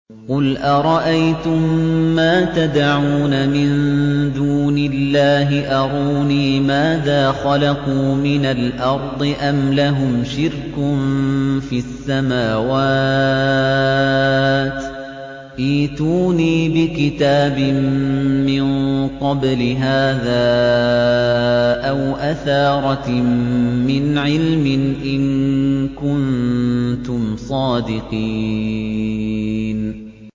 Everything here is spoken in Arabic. قُلْ أَرَأَيْتُم مَّا تَدْعُونَ مِن دُونِ اللَّهِ أَرُونِي مَاذَا خَلَقُوا مِنَ الْأَرْضِ أَمْ لَهُمْ شِرْكٌ فِي السَّمَاوَاتِ ۖ ائْتُونِي بِكِتَابٍ مِّن قَبْلِ هَٰذَا أَوْ أَثَارَةٍ مِّنْ عِلْمٍ إِن كُنتُمْ صَادِقِينَ